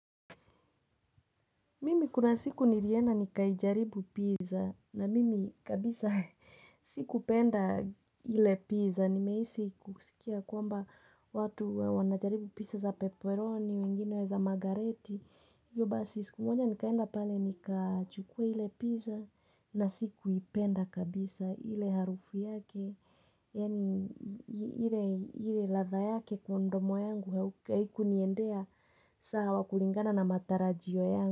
Mimi kuna siku nilienda nikaijaribu pizza na mimi kabisa sikupenda ile pizza. Nimehisi kusikia kwamba watu wanajaribu pizza za peperoni, wengine wa za margareti. Basi siku moja nikaenda pale nikachukua ile pizza na sikuipenda kabisa ile harufu yake. Ile ladha yake kwa mdomo yangu haikuniendea sawa kulingana na matarajio yangu.